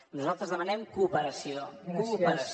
nosaltres demanem cooperació cooperació